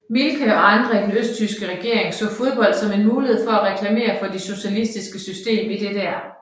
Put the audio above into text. Mielke og andre i den østtyske regering så fodbold som en mulighed for at reklamere det socialistiske system i DDR